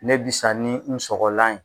Ne b'i sa ni n sɔgɔlan ye.